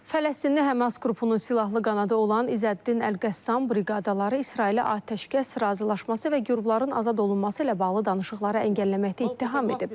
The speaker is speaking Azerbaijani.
Fələstinli Həmas qrupunun silahlı qanadı olan İzzəddin Əlqəssam briqadaları İsraili atəşkəs razılaşması və girovların azad olunması ilə bağlı danışıqları əngəlləməkdə ittiham edib.